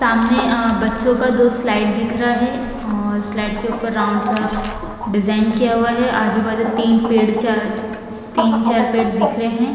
सामने आ बच्चों का दो स्लाइड दिख रहा है और स्लाइड के ऊपर राउंड सा डिजाइन किया हुआ है आजू-बाजू तीन पेड़ चार तीन चार पेड़ दिख रहे हैं।